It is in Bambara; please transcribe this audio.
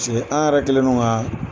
Paseke an yɛrɛ kɛlen don ka